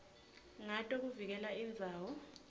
ngato kuvikela indzawo